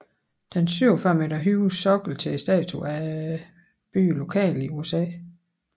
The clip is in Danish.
Den 47 meter høje sokkel til statuen er bygget lokalt i USA